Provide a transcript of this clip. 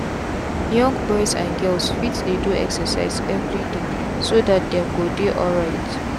young boys and girls fit dey do excercise everydayso that them go dey alright.